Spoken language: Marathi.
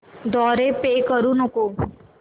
द्वारे पे करू नको